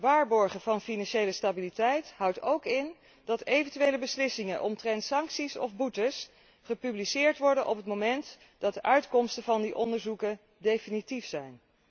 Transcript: Waarborgen van financiële stabiliteit houdt ook in dat eventuele beslissingen omtrent sancties of boetes gepubliceerd worden op het moment dat de uitkomsten van die onderzoeken definitief zijn.